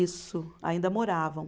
Isso, ainda moravam.